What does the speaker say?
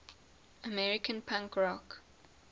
american punk rock